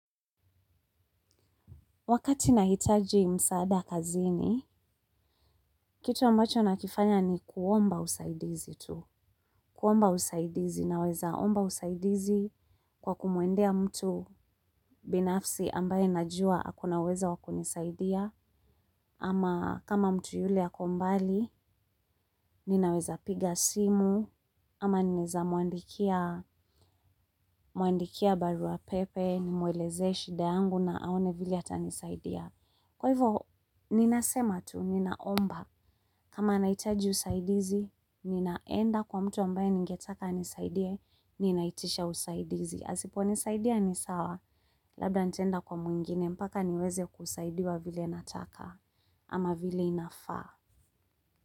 Wakati nahitaji msaada kazini, kitu ambacho nakifanya ni kuomba usaidizi tu. Kuomba usaidizi na weza omba usaidizi kwa kumuendea mtu binafsi ambaye najua akona uweza wakunisaidia. Ama kama mtu yule ako mbali, ninaweza piga simu, ama ninaweza muandikia barua pepe, nimueleze shida yangu na aone vili ata nisaidia. Kwa hivyo, ninasema tu, ninaomba, kama naitaji usaidizi, ninaenda kwa mtu ambaye ningetaka nisaidie, ninaitisha usaidizi. Asipo nisaidia ni sawa, labda ntaenda kwa mwingine, mpaka niweze kusaidia vile nataka, ama vile inafaa.